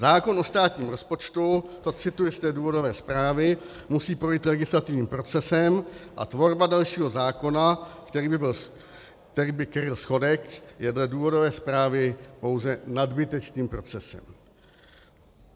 Zákon o státním rozpočtu," to cituji z té důvodové zprávy, "musí projít legislativním procesem, a tvorba dalšího zákona, který by kryl schodek," je dle důvodové zprávy "pouze nadbytečným procesem".